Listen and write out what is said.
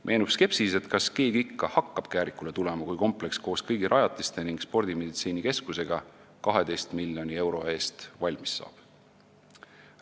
Meenub skepsis, et kas keegi ikka hakkab Käärikule tulema, kui kompleks koos kõigi rajatiste ning spordimeditsiinikeskusega 12 miljoni euro eest valmis saab.